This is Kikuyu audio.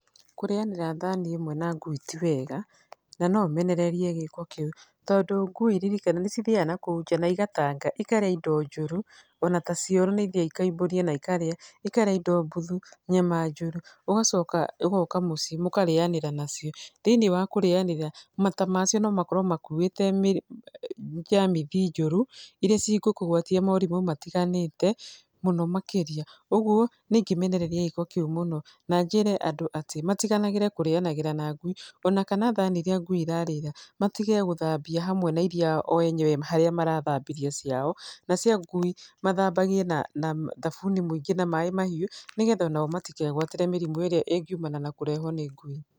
Kũrĩanĩra thani ĩmwe na ngui ti wega, na no menererie gĩko kĩu tondũ ngui ririkana nĩcithiaga nakũu nja na igatanga ikarĩa indo njũru, ona ta cioro nĩ ithiaga ikaumbũria na ikarĩa, ikarĩa indo mbuthu, nyama njũru. Ũgacoka ũgoka mũciĩ mũkarĩanĩra nacio, thĩiniĩ wa kũrĩanĩra, mata macio no makorwo makuĩte njamithi njũrũ, iria cigũkũgwatia morimũ matiganĩte, mũno makĩria. Ũguo nĩ ingĩmenereria gĩko kĩu mũno. Na njĩre andũ atĩ matiganagĩre kũrĩanagĩra na ngui ona kana thani iria ngui irarĩĩra, matige gĩthambia hamwe na iria o enyewe marathambĩria ciao, na cio ngui mathambagie na thabuni mũingĩ na maaĩ mahiũ nĩ getha onao matikegwatíĩe mĩrimũ ĩrĩa ĩngiumana na kũrehũo nĩ ngui.